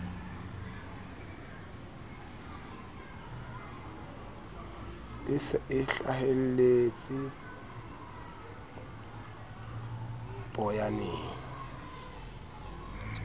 e se e hlahelletse poyaneng